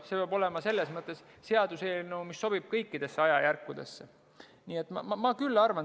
Sellepärast peab see olema seaduseelnõu, mis sobib kõikidesse ajajärkudesse.